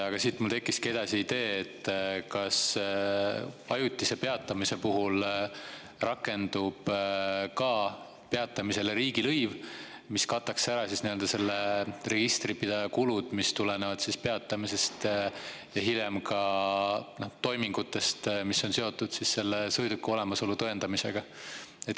Aga siit mul tekkis edasi idee, et kas ajutise peatamise puhul rakendub ka peatamisele riigilõiv, mis kataks ära registripidaja kulud, mis tulenevad peatamisest ja hiljem toimingutest, mis on seotud selle sõiduki olemasolu tõendamisega.